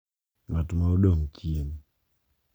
Ng’at ma odong’ chien.